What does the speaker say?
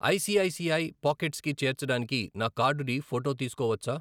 I C I C I pockets కి చేర్చడానికి నా కార్డుని ఫోటో తీసుకోవచ్చా?